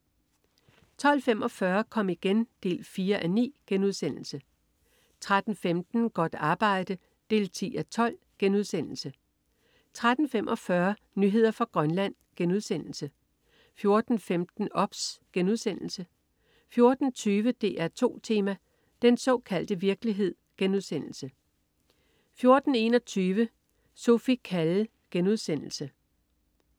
12.45 Kom igen 4:9* 13.15 Godt arbejde 10:12* 13.45 Nyheder fra Grønland* 14.15 OBS* 14.20 DR2 Tema: Den såkaldte virkelighed* 14.21 Sophie Calle*